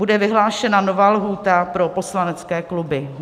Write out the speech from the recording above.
Bude vyhlášena nová lhůta pro poslanecké kluby.